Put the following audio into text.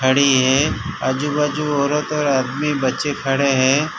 खड़ी है आजू बाजू औरत और आदमी बच्चे खड़े हैं।